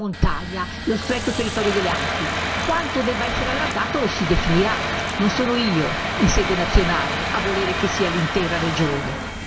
Dopodiché io dico, non la stretta montagna, lo stretto territorio delle Alpi, quanto debba essere allargato lo si definirà, non sono io in sede nazionale a volere che sia l'intera regione.